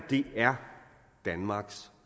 er danmarks